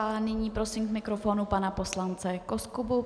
A nyní prosím k mikrofonu pana poslance Koskubu.